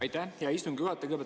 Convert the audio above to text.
Aitäh, hea istungi juhataja!